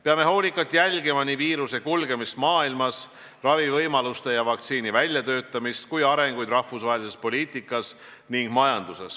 Peame hoolikalt jälgima nii viiruse kulgemist maailmas, ravivõimaluste ja vaktsiini väljatöötamist kui ka arengusuundi rahvusvahelises poliitikas ja majanduses.